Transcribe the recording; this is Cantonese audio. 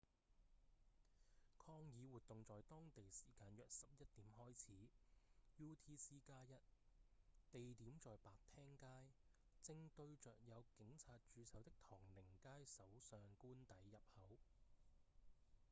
抗議活動在當地時間約11點開始 utc+1 地點在白廳街正對著有警察駐守的唐寧街首相官邸入口